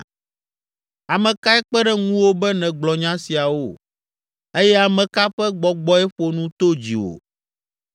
Ame kae kpe ɖe ŋuwò be nègblɔ nya siawo? Eye ame ka ƒe gbɔgbɔe ƒo nu to dziwò?